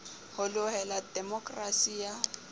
ho loela ha demokerasi ya